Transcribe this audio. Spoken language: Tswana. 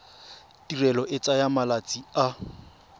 tirelo e tsaya malatsi a